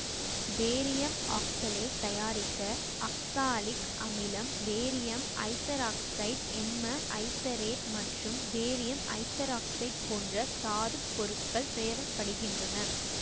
barium oxalate தயாரிக்க oxalic அமிலம் barium hydroxide எண்ம ஐதரேட்டு மற்றும் பேரியம் ஐதராக்சைடு போன்ற தாது பொருட்கள் தேவை படுகின்றன